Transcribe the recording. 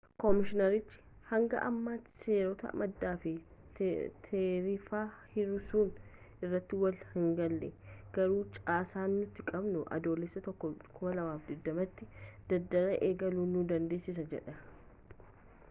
koomishiinerichi hanga ammaatti seerota maddaa fi taarifa hir'isuu irratti walii hingalle garuu caasaan nuti qabnu adoolessa 1 2020 tti daldala eegaluu nu dandeessisa jedhan